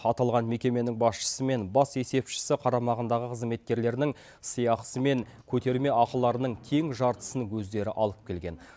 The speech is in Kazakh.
аталған мекеменің басшысы мен бас есепшісі қарамағындағы қызметкерлерінің сыйақысы мен көтерме ақыларының тең жартысын өздері алып келген